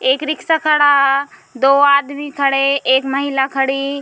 एक रिक्शा खड़ा दो आदमी खड़े एक महिला खड़ी।